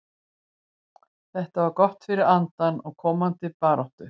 Þetta var gott fyrir andann og komandi baráttu.